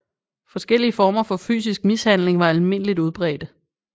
Forskellige former for fysisk mishandling var almindeligt udbredte